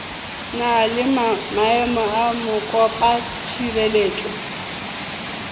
na le maemo a mokopatshireletso